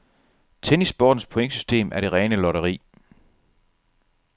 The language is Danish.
Tennissportens pointsystem er det rene lotteri.